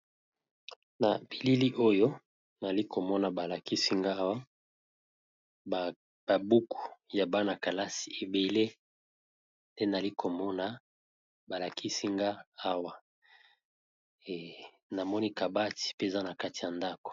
Na bilili oyo nali komona ba lakisi nga awa ba buku ya bana-kalasi ebele te nali komona balakisinga awa namoni kabati mpe za na kati ya ndako.